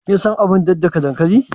Kin san abar daddaka dankali?